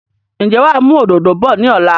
Ǹjẹ́ wàá mú òdòdó bọ̀ ni ọ̀la?